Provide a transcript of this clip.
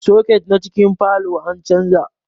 Soket na cikin falow an canja